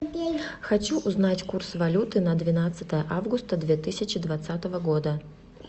хочу узнать курс валюты на двенадцатое августа две тысячи двадцатого года